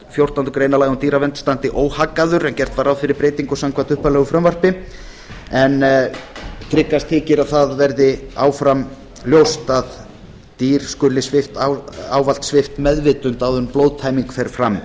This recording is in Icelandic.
fjórtándu grein laga um dýravernd standi óhaggaður gert var ráð fyrir breytingu samkvæmt upphaflegu frumvarpi en tryggast þykir að það verði áfram ljóst að dýr skuli ávallt svipt meðvitund áður en blóðtæming fer fram